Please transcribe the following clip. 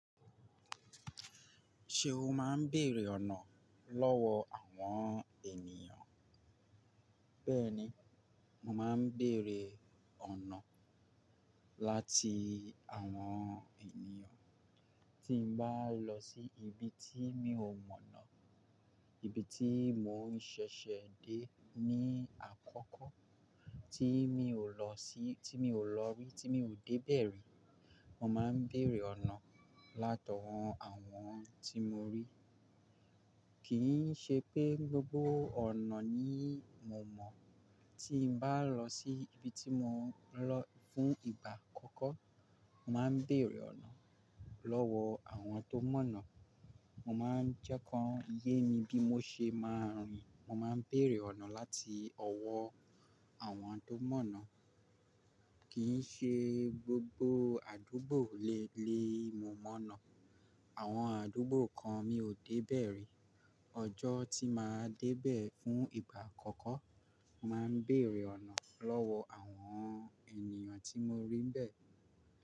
Ṣé o máa ń bèèrè ọ̀nà lọ́wọ́ àwọn ènìyàn? Bẹ́ẹ̀ni, mo máa ń bèèrè ọ̀nà láti àwọn ènìyàn. Tí n bá lọ sí ibi tí mi ò mọ̀nà, ibi tí mò ń ṣẹ̀ṣẹ̀ dé ní àkọ́kọ́, tí mi ò lọ sí, tí mi ò lọ rí, tí mi ò dé ibe ri, mo máa ń bèèrè ọ̀nà látọwọ́ àwọn tí mo rí. Kì í ṣe pé gbogbo ọ̀nà ni mo mọ̀. Tí n bá lọ sí ibi tí mò ń lọ fún ìgbà àkọ́kọ́, mo máa ń bèèrè ọ̀nà lọ́wọ́ àwọn tó mọ̀nà. Mo máa ń jẹ́ ká ń ye mi bí mo ṣe máa rìn. Mo máa ń bèèrè ọ̀nà láti ọwọ́ àwọn tó mọ̀nà. Kì í ṣe gbogbo àdúgbò lè le è mo mọ̀nà. Àwọn àdúgbò kan mi ò dé ibẹ̀ ri. Ọjọ́ tí màá dé bẹ̀ fún ìgbà àkọ́kọ́, màá n béèrè ọ̀nà lọ́wọ́ àwọn ènìyàn tí mo rí bẹ́ẹ̀